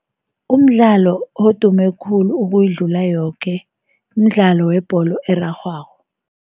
Umdlalo odume khulu ukuyidlula yoke, mdlalo webholo erarhwako.